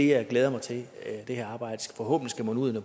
jeg glæder mig til at det her arbejde forhåbentlig skal munde ud i